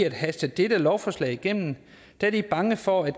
at haste dette lovforslag igennem da de er bange for at